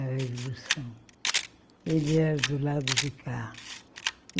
Ele era do lado de cá.